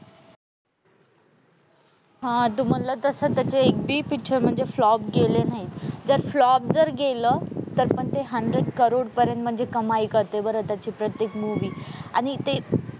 हां तू म्हणलं तसं त्याचा एकबी पिक्चर म्हणजे फ्लॉप गेले नाहीत. जर फ्लॉप जर गेलं तरीपण ते हंड्रेड करोडपर्यंत म्हणजे कमाई करते बरं त्याची प्रत्येक मूव्ही. आणि ते,